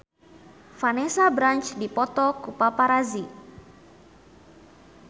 Vanessa Branch dipoto ku paparazi